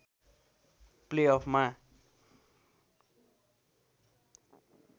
play अफमा